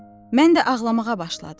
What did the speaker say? Mən də ağlamağa başladım.